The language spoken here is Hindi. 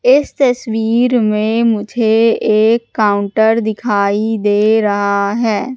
इस तस्वीर में मुझे एक काउंटर दिखाई दे रहा है।